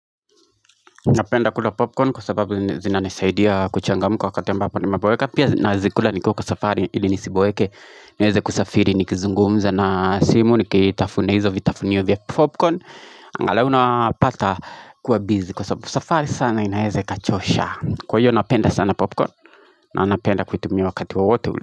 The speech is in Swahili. Napenda kula popcorn kwa sababu zinanisaidia kuchangamuka wakati ambapo nimeboeka Pia nazikula nikiwa kwa safari ili nisiboeke niweze kusafiri nikizungumza na simu nikitafuna izo vitafunio vya popcorn angalau napata kuwa busy kwa safari sana inaeze ikachosha Kwa hiyo napenda sana popcorn na napenda kuitumia wakati wowote ule.